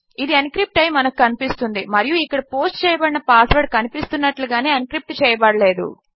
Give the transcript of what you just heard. ఇది ఎన్క్రిప్ట్ అయి మనకు కనిపిస్తున్నది మరియు ఇక్కడ పోస్ట్ చేయబడిన పాస్వర్డ్ కనిపిస్తున్నట్లు గానే ఎన్క్రిప్ట్ చేయబడలేదు